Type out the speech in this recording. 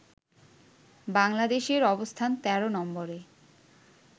বাংলাদেশের অবস্থান ১৩ নম্বরে